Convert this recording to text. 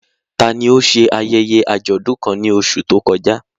Tani ó ṣe ayẹyẹ àjọ̀dún kan ní oṣù tó kọjá?